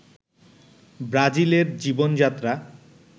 ব্রাজিলের জীবন-যাত্রা